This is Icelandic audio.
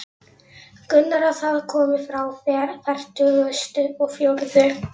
Grunar að það komi frá fertugustu og fjórðu